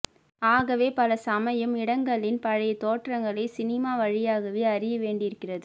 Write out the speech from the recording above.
ஆகவே பலசமயம் இடங்களின் பழைய தோற்றங்களை சினிமா வழியாகவே அறிய வேண்டியிருக்கிறது